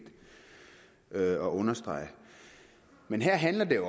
at understrege men her handler det